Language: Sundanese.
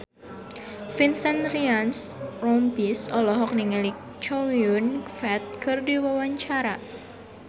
Vincent Ryan Rompies olohok ningali Chow Yun Fat keur diwawancara